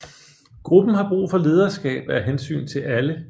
Gruppen har brug for lederskab af hensyn til alle